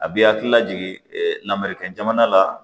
A bɛ hakilila jigin lamɛn kɛnbana la